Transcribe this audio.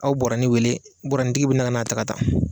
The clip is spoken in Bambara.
Aw bɛ bɔrɛnin wele bɔrɛbnintigi wele ka n'a ta ka taa